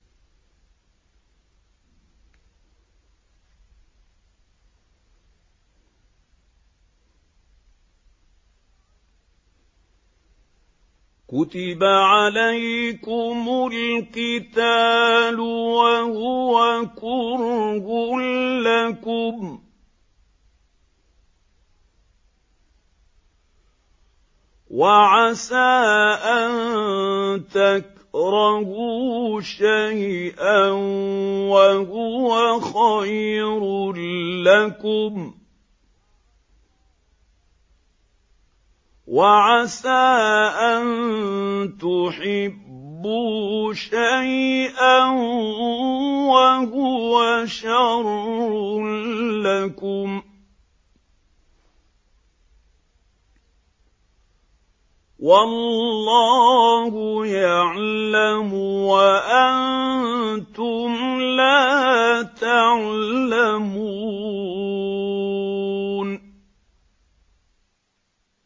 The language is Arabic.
كُتِبَ عَلَيْكُمُ الْقِتَالُ وَهُوَ كُرْهٌ لَّكُمْ ۖ وَعَسَىٰ أَن تَكْرَهُوا شَيْئًا وَهُوَ خَيْرٌ لَّكُمْ ۖ وَعَسَىٰ أَن تُحِبُّوا شَيْئًا وَهُوَ شَرٌّ لَّكُمْ ۗ وَاللَّهُ يَعْلَمُ وَأَنتُمْ لَا تَعْلَمُونَ